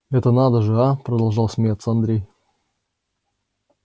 это надо же а продолжал смеяться андрей